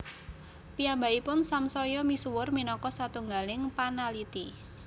Piyambakipun samsaya misuwur minangka satunggaling panaliti